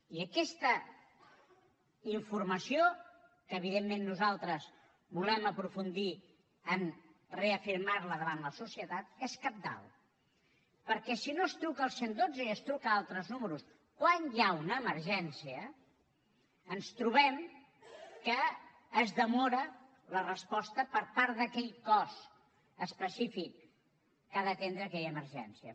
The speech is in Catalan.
i aquesta informació que evidentment nosaltres volem aprofundir a reafirmar la davant la societat és cabdal perquè si no es truca al cent i dotze i es truca a altres números quan hi ha una emergència ens trobem que es demora la resposta per part d’aquell cos específic que ha d’atendre aquella emergència